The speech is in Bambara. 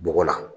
Bɔgɔ la